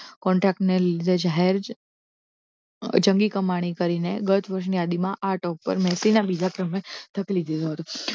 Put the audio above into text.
Contect લીધે જાહેર જંગી કમાણી કરીને ગર્ત વર્ષની યાદીમાં આઠ ઉપર મેફિલના બીજા ક્રમે ધકેલી દીધો હતો